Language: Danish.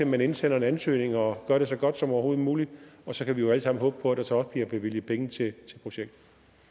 man indsende en ansøgning og gøre det så godt som overhovedet muligt og så kan vi jo alle sammen håbe på at der så også bliver bevilget penge til projektet